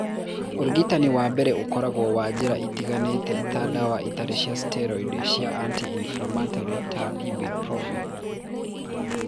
Ũrigitani wa mbere ũkoragwo na njĩra itiganĩte ta ndawa itarĩ cia steroid cia anti inflammatory ta Ibuprofen.